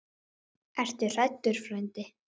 Ertu hræddur frændi?